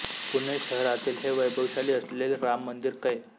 पुणे शहरातील हे वैभवशाली असलेले राम मंदिर कै